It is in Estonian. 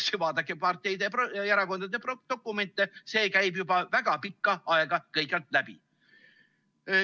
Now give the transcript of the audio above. Vaadake parteide ja erakondade dokumente, see käib juba väga pikka aega kõikjalt läbi.